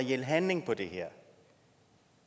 reel handling på det her